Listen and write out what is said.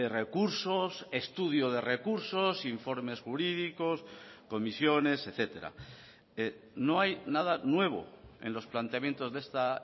recursos estudio de recursos informes jurídicos comisiones etcétera no hay nada nuevo en los planteamientos de esta